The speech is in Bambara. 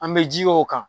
An bɛ ji k'o kan